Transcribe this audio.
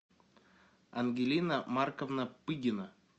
ангелина марковна пыгина